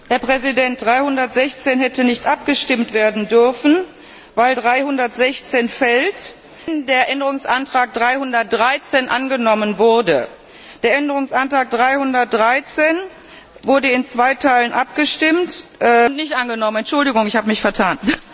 Herr Präsident! Änderungsantrag 316 hätte nicht abgestimmt werden dürfen, weil 316 fällt, wenn der Änderungsantrag 313 angenommen wurde. Der Änderungsantrag 313 wurde in zwei Teilen abgestimmt und nicht angenommen. Entschuldigung, ich habe mich vertan!